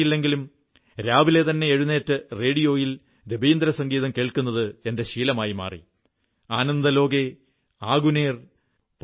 ഭാഷ അറിയില്ലെങ്കിലും രാവിലെതന്നെ എഴുന്നേറ്റ് റേഡിയോയിൽ രവീന്ദ്രസംഗീതം കേൾക്കുന്നത് എന്റെ ശീലമായി മാറി ആനന്ദലോകേ ആഗുനേർ